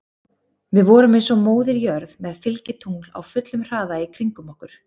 Við vorum eins og Móðir jörð með fylgitungl á fullum hraða í kringum okkur.